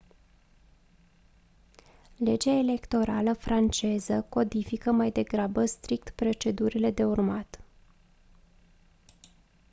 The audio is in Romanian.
legea electorală franceză codifică mai degrabă strict procedurile de urmat